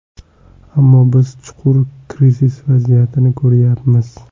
Ammo biz chuqur krizis vaziyatini ko‘ryapmiz.